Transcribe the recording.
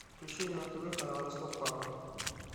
включи мне на тв канал ростов папа